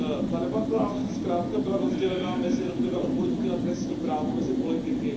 Ta debata zkrátka byla rozdělena mezi odborníky na trestní právo a mezi politiky.